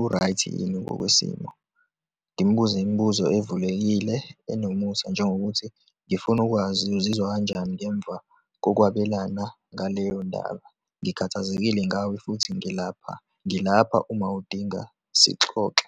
u-right-i yini ngokwesimo, ngimbuze imibuzo evulekile, enomusa, njengokuthi ngifuna ukwazi uzizwa kanjani ngemva kokwabelana ngaleyondaba, ngikhathazekile ngawe futhi ngilapha, ngilapha uma udinga sixoxe.